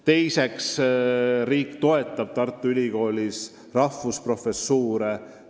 Teiseks, riik toetab Tartu Ülikoolis rahvusprofessuure.